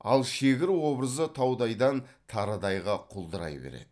ал шегір образы таудайдан тарыдайға құлдырай береді